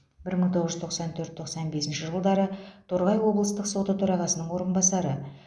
бір мың тоғыз жүз тоқсан төрт тоқсан бесінші жылдары торғай облыстық соты төрағасының орынбасары